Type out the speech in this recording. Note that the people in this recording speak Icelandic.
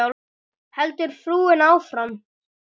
heldur frúin áfram.